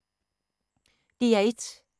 DR1